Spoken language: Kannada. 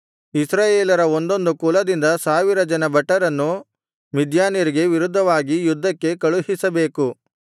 ಇಸ್ರಾಯೇಲರ ಒಂದೊಂದು ಕುಲದಿಂದ ಸಾವಿರ ಜನ ಭಟರನ್ನು ಮಿದ್ಯಾನ್ಯರಿಗೆ ವಿರುದ್ಧವಾಗಿ ಯುದ್ಧಕ್ಕೆ ಕಳುಹಿಸಬೇಕು